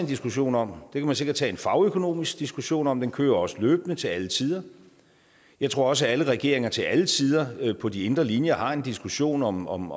diskussion om det kan man sikkert tage en fagøkonomisk diskussion om den kører også løbende til alle tider jeg tror også at alle regeringer til alle tider på de indre linjer har en diskussion om om